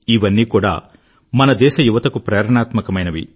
ఇవన్నీ కూడా మన దేశ యువతకు ప్రేరణాత్మకమైనవి